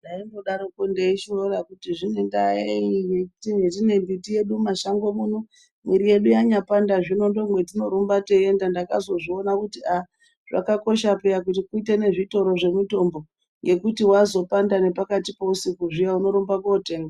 Ndaimbodarokwo ndeishora kuti zvine ndaa yei hetine mbiti yedu mumashango muno. Mwiri yedu yanyapanda ndomwatinorumba teienda. Ndakazozviona kuti aah zvakakosha peya kuti tiite nezvitoro zvemitombo. ngekuti wazopanda nepakati peusiku zviyaa unorumba kootenga.